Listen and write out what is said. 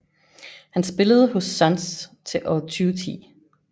Han spillede hos Suns til år 2010